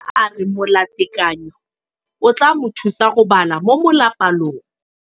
Mosimane a re molatekanyô o tla mo thusa go bala mo molapalong.